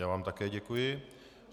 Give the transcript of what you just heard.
Já vám také děkuji.